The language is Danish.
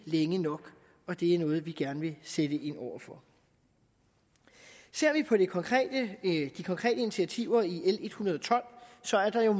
længe nok og det er noget vi gerne vil sætte ind over for ser vi på de konkrete initiativer i l en hundrede og tolv så er der jo